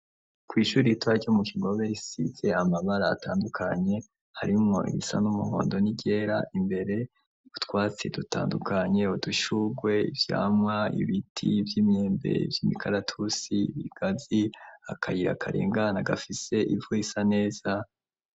Kw'ishuri itwaryo mu kigobesize amabara atandukanye harimwo ibisa n'umuhondo ni ryera imbere butwatsi dutandukanye budushurwe ivyamwa ibiti vy'imyembe vy'imikaratusi bigazi akayira akarengana gafise ivu isa neza.